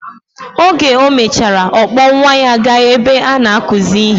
Oge omechara, okpor nwa ya ga ebe ana akuzi ihe.